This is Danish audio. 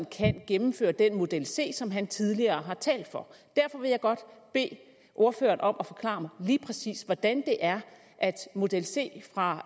kan gennemføre den model c som han tidligere har talt for derfor vil jeg godt bede ordføreren om at forklare mig lige præcis hvordan det er at model c fra